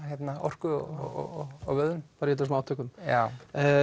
orku og og vöðvum í þessum átökum já